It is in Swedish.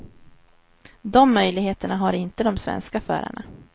De möjligheterna har inte de svenska förarna.